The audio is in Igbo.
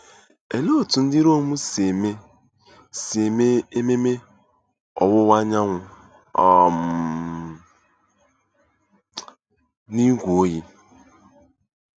Olee otú ndị Rom si eme si eme ememe ọwụwa anyanwụ um n'ígwé oyi?